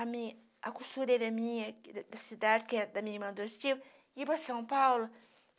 A mi costureira minha, da cidade, que era da minha irmã adotivo, ia para São Paulo.